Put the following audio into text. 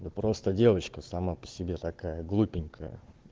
да просто девочка сама по себе такая глупенькая